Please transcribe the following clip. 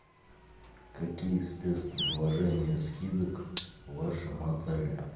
какие спецпредложения скидок в вашем отеле